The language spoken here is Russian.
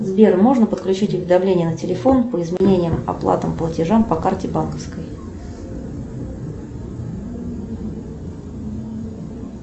сбер можно подключить уведомление на телефон по изменениям оплатам платежам по карте банковской